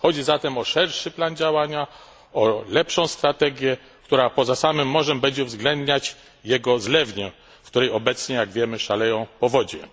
Chodzi zatem o szerszy plan działania, o lepszą strategię, która, poza samym morzem, będzie uwzględniać jego zlewnię, w której obecnie jak wiemy szaleją powodzie.